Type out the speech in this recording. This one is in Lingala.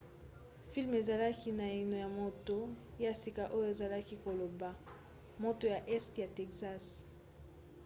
filme ezalaki naino na moto ya sika oyo azalaki koloba moto ya este ya texas